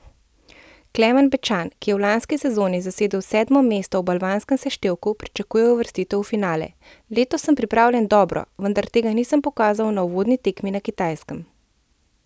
Klemen Bečan, ki je v lanski sezoni zasedel sedmo mesto v balvanskem seštevku, pričakuje uvrstitev v finale: 'Letos sem pripravljen dobro, vendar tega nisem pokazal na uvodni tekmi na Kitajskem.